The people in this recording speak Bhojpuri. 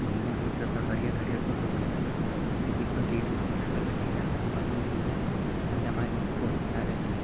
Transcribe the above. घूमे जालन स त हरियर-हरियर कुल लउकेला। हई देखा गेट उट कुल लागल बाटे आराम से। एमे आदमी हेल जाला आ नमाज ओमाज पढ़ी के आवेला।